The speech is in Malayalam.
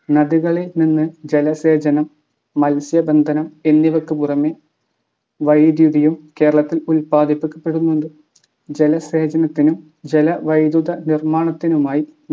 നദികളിൽ നിന്ന് ജലസേചനം മത്സ്യബന്ധനം എന്നിവക്കു പുറമേ വൈദ്യുതിയും കേരളത്തിൽ ഉത്പാദിപ്പിക്കപ്പെടുന്നുണ്ട്. ജലസേചനത്തിനും ജലവൈദ്യുത നിർമ്മാണത്തിനുമായി